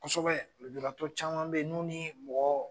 Kosɛbɛ lujuratɔ caman bɛ yen nunni mɔgɔ